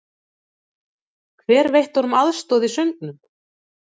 Hver veitti honum aðstoð í söngnum?